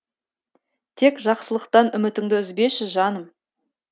тек жақсылықтан үмітіңді үзбеші жаным